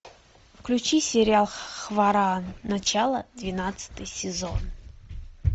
включи сериал хваран начало двенадцатый сезон